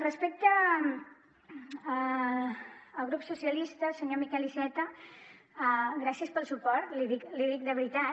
respecte al grup socialistes senyor miquel iceta gràcies pel suport l’hi dic de veritat